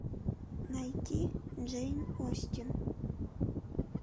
найти джейн остин